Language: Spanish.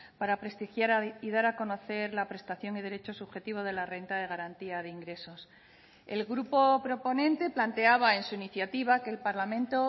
para prestigiar y dar a conocer la prestación y derecho subjetivo de la renta de garantía de ingresos el grupo proponente planteaba en su iniciativa que el parlamento